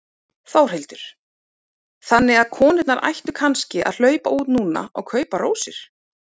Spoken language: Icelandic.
Þórhildur: Þannig að konurnar ættu kannski að hlaupa út núna og kaupa rósir?